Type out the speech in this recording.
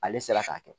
Ale sera k'a kɛ